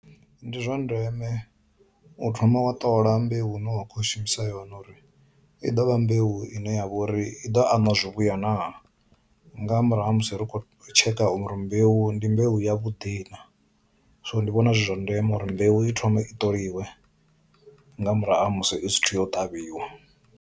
Ndi zwa ndeme u thoma wa ṱola mbeu hune wa kho shumisa yone uri i dovha mbeu ine ya vha uri i ḓovha ana zwi vhuya naa, nga murahu ha musi ri kho tsheka uri mbeu ndi mbeu ya vhuḓi na, so ndi vhona zwi zwa ndeme uri mbeu i thome i ṱoliwe nga murahu ha musi i sithu yo ṱavhiwa.